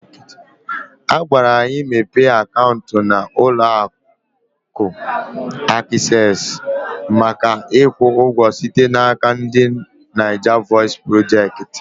Agwara anyị mepe akaụntụ na ụlọ akụ Aksesị maka ikwu ụgwọ site n'aka ndị Naija vọis projekti